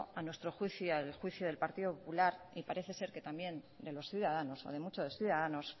a nuestro juicio y al juicio del partido popular y parece ser que también de los ciudadanos o de muchos ciudadanos